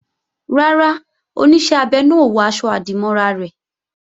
Rárá, Oníṣẹ́ abẹ náà ò wọ aṣọ-àdìmọ́ra rẹ̀